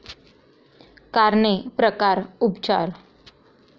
कारणे, प्रकार, उपचार